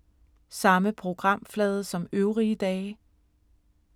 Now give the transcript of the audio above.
Samme programflade som øvrige dage